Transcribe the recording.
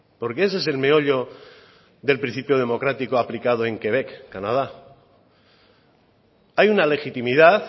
porque ese es el meollo del principio democrático aplicado en quebec canadá hay una legitimidad